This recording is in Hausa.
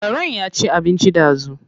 Karen ya ci abinci ɗazu.